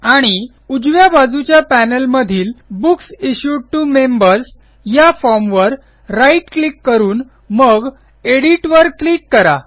आणि उजव्या बाजूच्या पॅनेलमधील बुक्स इश्यूड टीओ मेंबर्स या फॉर्म वर राईट क्लिक करून मग एडिट वर क्लिक करा